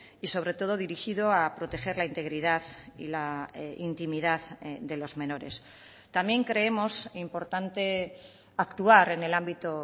y sobre todo dirigido a proteger la integridad y la intimidad de los menores también creemos importante actuar en el ámbito